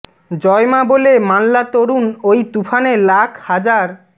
জয় মা বলে মাল্লা তরুণ ওই তুফানে লাখ হাজার